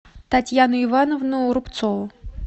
татьяну ивановну рубцову